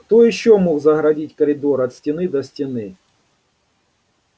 кто ещё мог загородить коридор от стены до стены